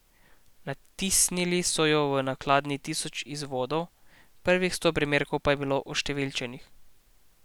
Natisnili so jo v nakladi tisoč izvodov, prvih sto primerkov pa je bilo oštevilčenih.